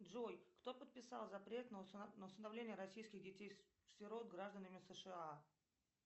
джой кто подписал запрет на усыновление российских детей сирот гражданами сша